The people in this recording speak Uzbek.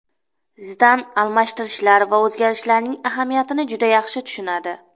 Zidan almashtirishlar va o‘zgarishlarning ahamiyatini juda yaxshi tushunadi.